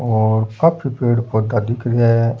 और काफी पेड़ पौधा दिख रेहा है।